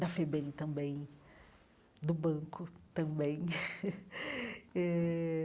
da FEBEM também, do banco também eh.